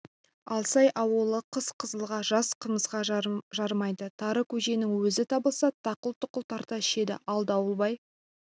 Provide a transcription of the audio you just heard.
алсай ауылы қыс қызылға жаз қымызға жарымайды тары көженің өзі табылса тақыл-тұқыл тарта ішеді ал дауылбай